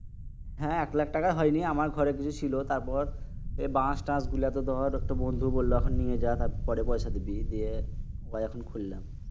হ্যাঁ এক লাক্ষ টাকায় হয়নি। আমার কাছে কিছু ছিল তারপর বাস টাস গুলাতো দর এখন একটা বন্ধু বলল নিয়ে যা পরে পয়সা দিবি। নিয়ে ভাই এখন কইলাম।